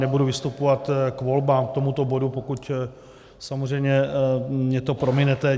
Nebudu vystupovat k volbám, k tomuto bodu, pokud samozřejmě mi to prominete.